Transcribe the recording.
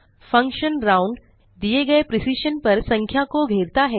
function round दिए गए precision पर संख्या को घेरता है